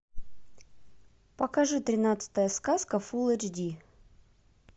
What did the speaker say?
покажи тринадцатая сказка фул эйч ди